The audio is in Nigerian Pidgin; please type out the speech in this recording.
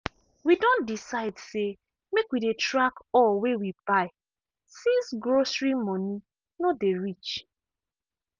we don decide say make we dey track all wey we buy since grocery money no dey reach.